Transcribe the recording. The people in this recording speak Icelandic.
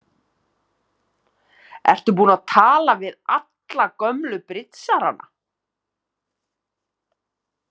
Ertu búin að tala við alla gömlu bridsarana?